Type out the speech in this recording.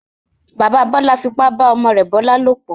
Bàbá Bọ́lá fipá bá ọmọ rẹ̀ Bọ́lá lòplọ̀.